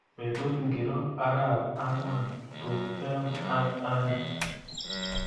Betut ngiro arap angwan tuptem ak aeng